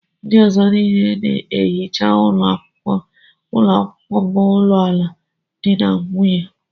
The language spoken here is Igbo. Ndị ọzọ niile na-ehicha ụlọ akwụkwọ m alụọla di na nwunye.